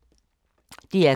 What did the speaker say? DR K